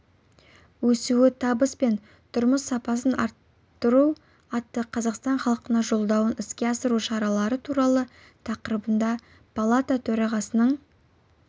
өсуі табыс пен тұрмыс сапасын арттыруатты қазақстан халқына жолдауын іске асыру шаралары туралы тақырыбында палата төрағасының